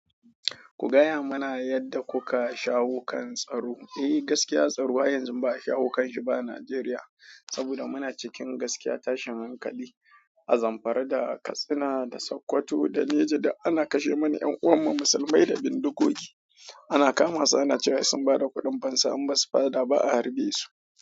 Ku gaya mana yadda kuka shawo kan tsaro. Eh, gaskiya tsaro wa yanzu ba a shawo kan shi ba a Najeriya saboda muna cikin gaskiya tashin hankali a Zamfara da Katsina da Sokoto da Neja da ana kashe mana 'yan'uwan mu musulmai da bindigogi. Ana kama su ana cewa sun ba da kuɗin fansa in basu ba da ba a harbe su.